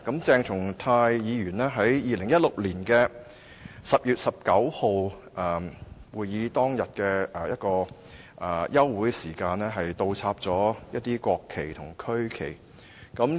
鄭松泰議員在2016年10月19日會議當日的休會時間，把一些國旗及區旗倒插。